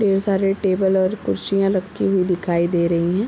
ढेर सारे टेबल और कुर्सियाँ रखी हुई दिखाई दे रही हैं ।